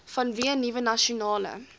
vanweë nuwe nasionale